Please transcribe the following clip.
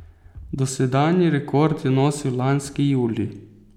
Dosedanji rekord je nosil lanski julij.